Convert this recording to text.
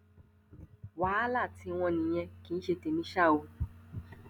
wàhálà tiwọn nìyẹn kì í ṣe tèmi ṣá o